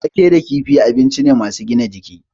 Wake da kifi abinci ne masu gina jiki.